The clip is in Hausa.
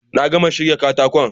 Na gama shirya katakon